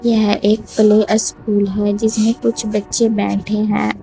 यह एक play school है जिसमें कुछ बच्चे बैठे हैं औ--